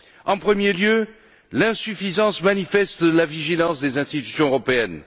En premier lieu, l'insuffisance manifeste de la vigilance des institutions européennes.